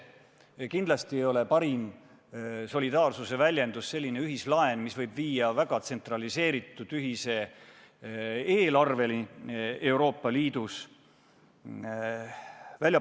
Ja kindlasti ei ole parim solidaarsuse väljendus selline ühislaen, mis võib viia välja Euroopa Liidu väga tsentraliseeritud ühise eelarve loomiseni.